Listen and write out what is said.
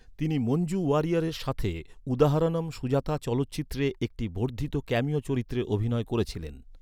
তিনি মঞ্জু ওয়ারিয়ারের সাথে উদাহারনম সুজাতা চলচ্চিত্রে একটি বর্ধিত ক্যামিও চরিত্রে অভিনয় করেছিলেন।"